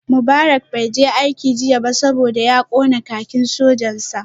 Mubarak bai je aiki jiya ba saboda ya kona kakin sojan sa